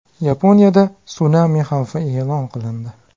Yaponiyada sunami xavfi e’lon qilindi.